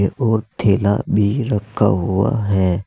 और थैला भी रखा हुआ है।